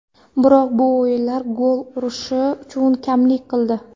Biroq bu o‘yinlar gol urishi uchun kamlik qildi.